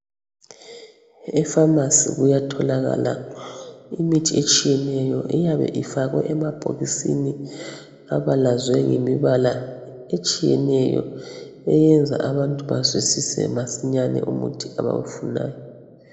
Efamasi kuyatholakala imithi etshiyeneyo iyabe ifakwe emabhokisini abalazwe ngembala etshiyeneyo eyenza abantu bazwisise masinyane umuthi abawufunayo.